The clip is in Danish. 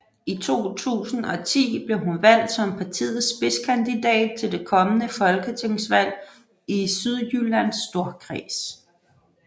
I 2010 blev hun valgt som partiets spidskandidat til det kommende folketingsvalg i Sydjyllands Storkreds